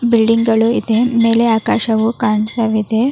Building ಗಳು ಇದೆ. ಮೇಲೆ ಆಕಾಶವು ಕಾಣ್ತಾ ಇದೆ.